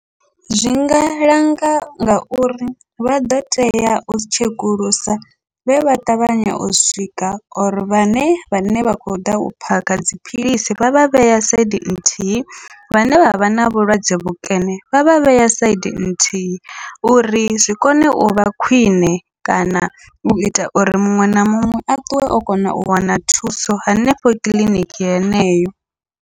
Zwinga langa ngauri vha ḓo tea u tshekulusa vhe vha ṱavhanya u swika or vhane vhane vha khou ḓa u phakha dziphilisi vha vha vhea saidi nthihi, vhane vha vha na vhulwadze vhukene vha vha vhea saidi nthihi uri zwi kone uvha khwiṋe kana uita uri muṅwe na muṅwe a ṱuwe o kona u wana thuso henefho kiḽiniki yeneyo.